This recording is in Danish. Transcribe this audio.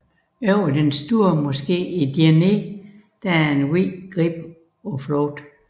Over den Store Moské i Djenné er en hvid grib i flugt